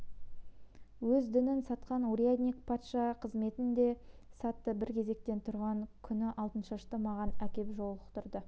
өз дінін сатқан урядник патша қызметін де сатты бір кезекте тұрған күні алтыншашты маған әкеп жолықтырды